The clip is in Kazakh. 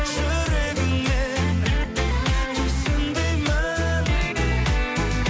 жүрегіңмен түсін деймін